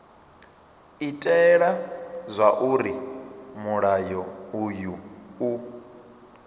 itela zwauri mulayo uyu u